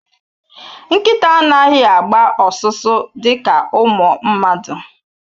Nkịta anaghị agba ọsụsọ dịka ụmụ mmadụ